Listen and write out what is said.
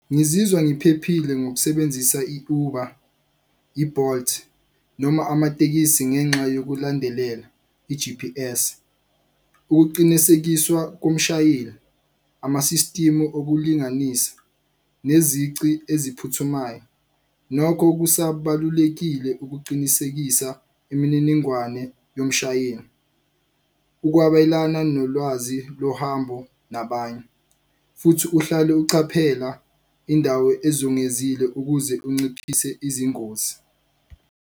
Ngizizwa ngiphephile ngokusebenzisa i-Uber, i-Bolt noma amatekisi ngenxa yokulandelela i-G_P_S, ukuqinisekiswa komshayeli, ama-system okulinganisa, nezici eziphuthumayo. Nokho kusabalulekile ukuqinisekisa imininingwane yomshayeli, ukwabelana nolwazi lohambo nabanye. Futhi uhlale ucaphela indawo ezungezile ukuze unciphise izingozi.